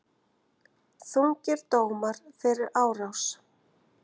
Þungir dómar fyrir árás